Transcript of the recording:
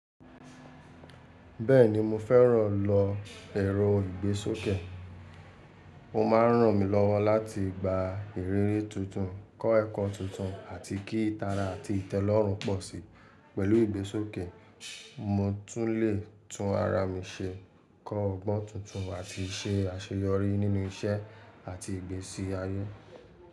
Bẹ́ẹ̀ni mo fẹ́ràn lọ èro ìgbésókè. Ó máa ń ràn mí lọ́wọ́ láti gba ìrírí tuntun, kọ́ ẹ̀kọ́ tuntun, àti kí ìtara àti ìtẹ́lọ́rùn pọ̀ sí i. Pẹ̀lú ìgbésókè, mo tún lè tún ara mi ṣe, kọ́ ọgbọ́n tuntun, àti ṣe àṣeyọrí nínú iṣẹ́ àti ìgbésí ayé.